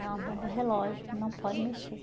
É uma bomba relógio que não pode mexer.